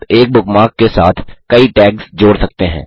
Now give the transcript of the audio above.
आप एक बुकमार्क के साथ कई टैग्स जोड़ सकते हैं